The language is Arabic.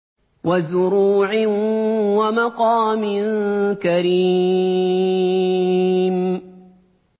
وَزُرُوعٍ وَمَقَامٍ كَرِيمٍ